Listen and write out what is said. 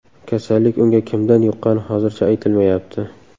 Kasallik unga kimdan yuqqani hozircha aytilmayapti.